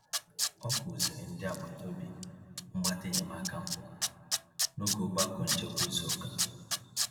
Ọ kụziri ndị agbata obi mgbata enyemaka mbụ n'oge ogbako nchekwa izu ụka.